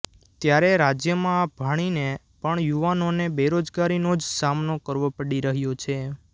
ત્યારે રાજ્યમાં ભણીને પણ યુવાનોને બેરોજગારીનો જ સામનો કરવો પડી રહ્યો છે